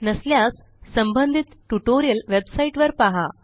नसल्यास संबंधित ट्युटोरियल वेबसाईटवर पहा